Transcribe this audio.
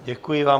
Děkuji vám.